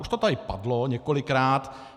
Už to tady padlo několikrát.